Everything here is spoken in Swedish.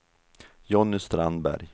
Johnny Strandberg